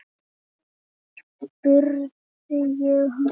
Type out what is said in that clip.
spurði ég hana.